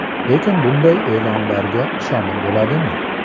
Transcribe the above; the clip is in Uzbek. Lekin bunday e’lonlarga ishonib bo‘ladimi?